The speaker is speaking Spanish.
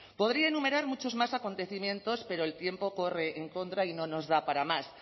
podría enumerar muchos más acontecimientos pero el tiempo corre en contra y no nos da para más